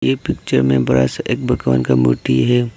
ये पिक्चर में बड़ा सा एक भगवान का मूर्ति है।